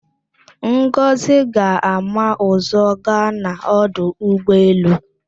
Ngọzị ga-ama ụ̀zọ́ gaa n'ọdụ ụgbọelu.